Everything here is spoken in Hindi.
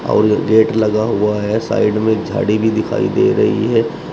और गेट लगा हुआ है साइड में झाड़ी भी दिखाई दे रही है।